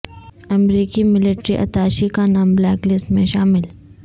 امریکی ملٹری اتاشی کا نام بلیک لسٹ میں شامل